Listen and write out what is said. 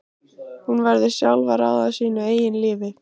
Hún verður sjálf að ráða sínu eigin lífi.